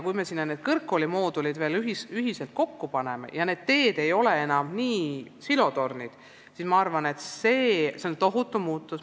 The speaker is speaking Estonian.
Kui me need kõrgkoolimoodulid veel kokku paneme ja need teed ei ole enam sellised silotornid, siis ma arvan, et see on tohutu muutus.